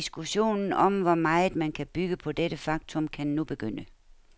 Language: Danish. Diskussionen om, hvor meget man kan bygge på dette faktum, kan nu begynde.